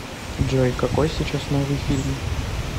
джой какой сейчас новый фильм